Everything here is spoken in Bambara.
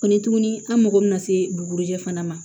Ko ni tuguni an mago bɛna se bugujɛ fana ma